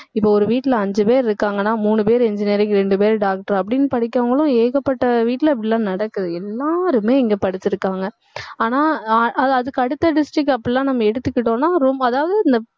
இப்ப ஒரு வீட்டுல அஞ்சு பேர் இருக்காங்கன்னா மூணு பேர் engineering இரண்டு பேர் doctor அப்படின்னு படிக்கறவங்களும் ஏகப்பட்ட வீட்டுல இப்படி எல்லாம் நடக்குது எல்லாருமே இங்க படிச்சிருக்காங்க. ஆனா ஆஹ் அதுக்கு அடுத்த district அப்படி எல்லாம் நம்ம எடுத்துகிட்டோம்னா ரொம்ப அதாவது இந்த